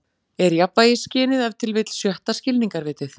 Er jafnvægisskynið ef til vill sjötta skilningarvitið?